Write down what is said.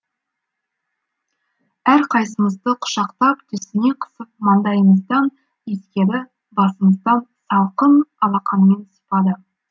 әрқайсымызды құшақтап төсіне қысып маңдайымыздан иіскеді басымыздан салқын алақанымен сипады